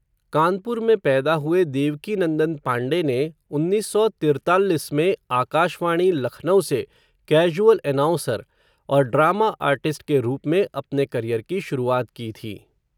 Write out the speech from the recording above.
कानपुर में पैदा हुए देवकीनंदन पांडे ने, उन्नीस सौ तिर्तालिस में आकाशवाणी लखनऊ से कैज़ुअल एनाउंसर, और ड्रामा आर्टिस्ट के रूप में, अपने करियर की शुरुआत की थी.